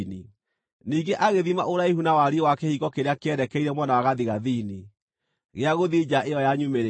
Ningĩ agĩthima ũraihu na wariĩ wa kĩhingo kĩrĩa kĩerekeire mwena wa gathigathini, gĩa gũthiĩ nja ĩyo ya nyumĩrĩra.